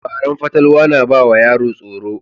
Labaran fatalwa na ba wa yara tsoro.